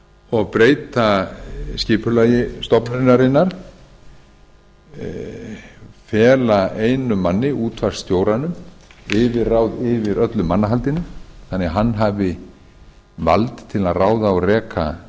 og breyta skipulagi stofnunarinnar fela einum manni útvarpsstjóranum yfirráð yfir öllu mannahaldi þannig hann hafi vald til að ráða og reka